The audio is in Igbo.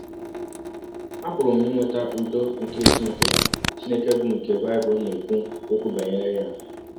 Apụrụ m inweta ụdọ nke Chineke Chineke bụ́ nke Bible na - ekwụ ọkwụ banyere ya.